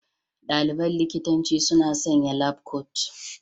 Ɗaliban likitanci suna sanya labkot.